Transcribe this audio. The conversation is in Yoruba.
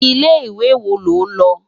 Ilé iwé wó ló n lo?